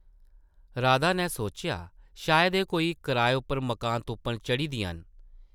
राधा नै सोचेआ शायद एह् कोई कराए उप्पर मकान तुप्पन चढ़ी दियां न ।